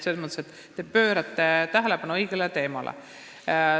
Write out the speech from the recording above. Selles mõttes te juhite tähelepanu õigele teemale.